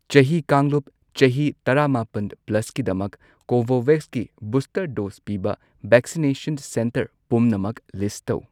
ꯆꯍꯤ ꯀꯥꯡꯂꯨꯞ ꯆꯍꯤ ꯇꯔꯥꯃꯥꯄꯟ ꯄ꯭ꯂꯁꯀꯤꯗꯃꯛ ꯀꯣꯚꯣꯚꯦꯛꯁꯀꯤ ꯕꯨꯁꯇꯔ ꯗꯣꯁ ꯄꯤꯕ ꯚꯦꯛꯁꯤꯅꯦꯁꯟ ꯁꯦꯟꯇꯔ ꯄꯨꯝꯅꯃꯛ ꯂꯤꯁ ꯇꯧ꯫